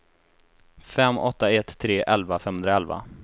fem åtta ett tre elva femhundraelva